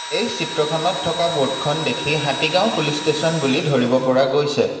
এই চিত্ৰখনত থকা বোৰ্ডখন দেখি হাতীগাওঁ পুলিচ ষ্টেচন বুলি ধৰিব পৰা গৈছে।